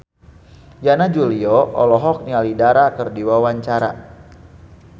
Yana Julio olohok ningali Dara keur diwawancara